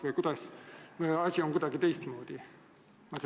Või on asi kuidagi teistmoodi?